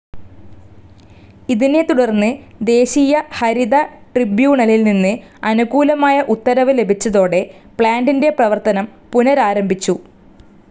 ഇതിനെത്തുടർന്ന് ദേശീയ ഹരിത ട്രിബ്യൂണലിൽ നിന്ന് അനുകൂലമായ ഉത്തരവ് ലഭിച്ചതോടെ പ്ലാന്റിന്റെ പ്രവർത്തനം പുനരാരംഭിച്ചു.